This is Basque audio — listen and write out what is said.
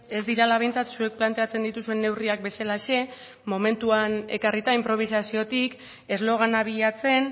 ez direla behintzat zuek planteatzen dituzuen neurriak bezalaxe momentuan ekarrita inprobisaziotik eslogana bilatzen